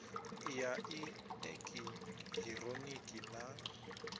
ya i eki hironiki na